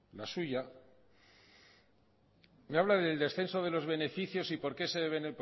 la suya me habla del descenso de los beneficios y por qué se deben